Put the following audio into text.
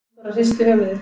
Halldóra hristi höfuðið.